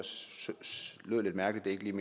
synes lyder lidt mærkeligt